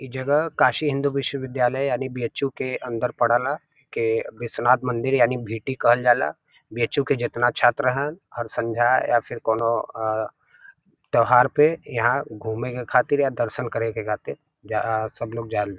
इ जगह काशी हिंदू विश्वविद्यालय यानि बीएचयू के अंदर पड़ल ह। के विश्वनाथ मंदिर यानि भीटी कहल जाला। बीएचयू के जितना छात्र हन हर संध्या या फिर कौनो अ त्यौहार पे यहां घूमे के खातिर या दर्शन करे के खातिर जा सब लोग जाल --